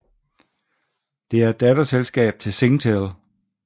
Det er et datterselskab til Singtel